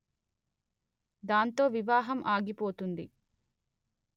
దాంతో వివాహం ఆగి పోతుంది